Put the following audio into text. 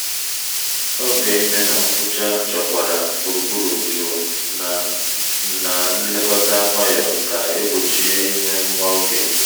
oge ime na ngwụcha chọkwara gburugburu jụụ na na nlekọta nwayọ ka e gbochie ime nwa oge.